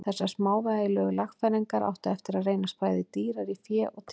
Þessar smávægilegu lagfæringar áttu eftir að reynast bæði dýrar í fé og tíma.